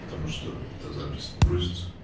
потому что эта запись не грузится